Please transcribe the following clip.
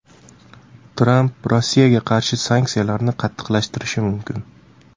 Tramp Rossiyaga qarshi sanksiyalarni qattiqlashtirishi mumkin.